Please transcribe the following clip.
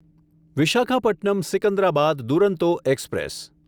Visakhapatnam Secunderabad Duronto express